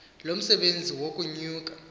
lo msebenzi wokunuka